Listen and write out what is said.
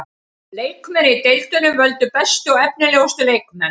Leikmenn í deildunum völdu bestu og efnilegustu leikmenn.